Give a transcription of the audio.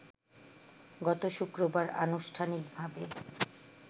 গত শুক্রবার আনুষ্ঠানিকভাবে